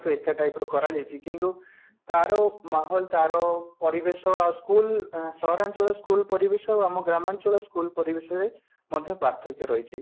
ଏକା type ର କରାଯାଇଛି କିନ୍ତୁ ତାର ପରିବେଶ ଆଉ school ଆଉ ସହରାଞ୍ଚଳ school ପରିବେଶ ଆମ ଗ୍ରାମାଞ୍ଚଳ school ପରିବେଶ ରେ ମଧ୍ୟ ପାର୍ଥକ୍ୟ ରହିଛି